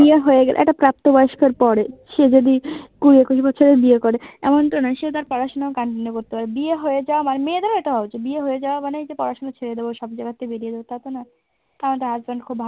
নিয়োগ হয়ে গেলে একটা প্রাপ্ত বয়স্কর পরে সে যদি কুড়ি একুশ বছরে বিয়ে করে এমনটা নয় সে তার পড়াশোনায় continue করতে পারে। বিয়ে হয়ে যাওয়া মানে মেয়েদেরও এটা হওয়া উচিত বিয়ে হয়ে যাওয়া মানে পড়াশোনা ছেড়ে দেবো সব জায়গা থেকে বেরিয়ে আসব টা তো নয়। কারণ তারা একজন খুব ভালো